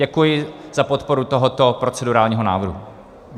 Děkuji za podporu tohoto procedurálního návrhu.